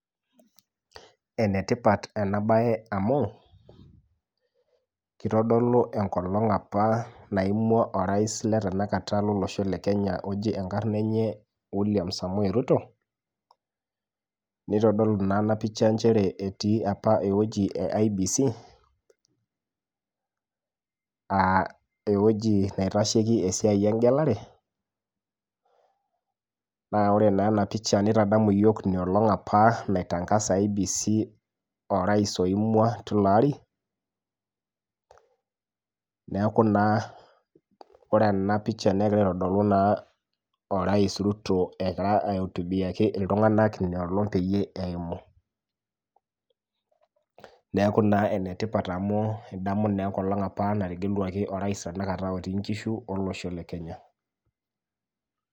Enetipat enabae amu, kitodolu enkolong apa naimua orais le tanakata lolosho le Kenya oji enkarna enye William Samoei Ruto, nitodolu naa enapicha njere etii apa ewoji e IEBC, ah ewoji naitasheki esiai egelare, naa ore naa enapicha nitadamu yiok inoolong' apa nai tangaza IEBC orais apa oimua tilo ari, neeku naa ore enapicha negira aitodolu naa orais Ruto ekira aiotubiaki iltung'anak inoolong peyie eimu. Neeku naa enetipat amu idamu naa enkolong apa nategeluaki orais tanakata otii nkishu olosho le Kenya.